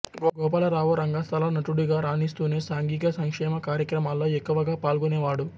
గోపాలరావు రంగస్థల నటుడుగా రాణిస్తూనే సాంఘిక సంక్షేమ కార్యక్రమాల్లో ఎక్కువగా పాల్గొనేవాడు